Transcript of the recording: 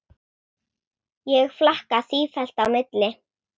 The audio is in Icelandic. Ég flakka sífellt á milli.